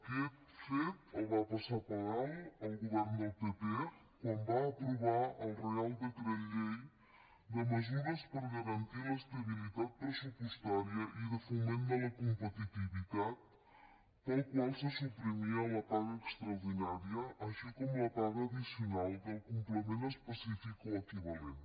aquest fet el va passar per alt el govern del pp quan va aprovar el reial decret llei de mesures per garantir l’estabilitat pressupostària i de foment de la competitivitat pel qual se suprimia la paga extraordinària així com la paga addicional del complement específic o equivalent